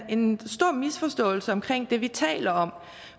en stor misforståelse omkring det vi taler om